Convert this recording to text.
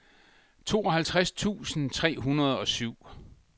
tooghalvtreds tusind tre hundrede og syv